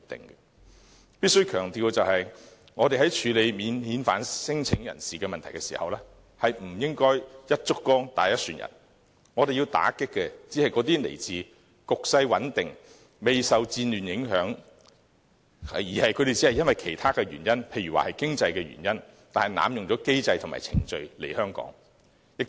我必須強調的是，在處理免遣返聲請人士的問題時，我們不應該"一竹篙打一船人"，我們要打擊的，只是那些來自局勢穩定、未受戰亂影響，但只是因為經濟等其他原因而濫用機制和程序來香港的人。